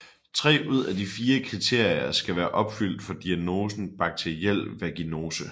Tre ud af de fire kriterier skal være opfyldt for diagnosen bakteriel vaginose